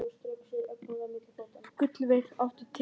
Gullveig, áttu tyggjó?